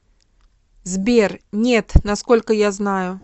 сбер нет насколько я знаю